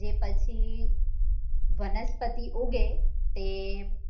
જે પછી વનસ્પતિ ઉગે તે